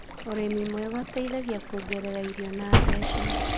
ũrĩmi mwega ũteithagia kũongerera irio na mbeca.